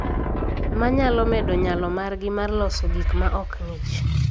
Ma nyalo medo nyalo margi mar loso gik ma ok ng�ich